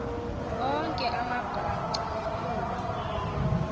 onke amabhaca kuba